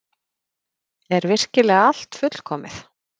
Er virkilega allt fullkomið?